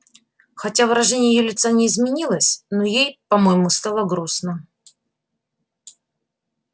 хотя выражение её лица не изменилось но ей по-моему стало грустно